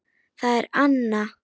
Það er Anna.